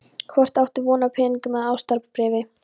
Hvort áttu von á peningum eða ástarbréfi?